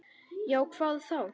Já, hvað þá?